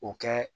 O kɛ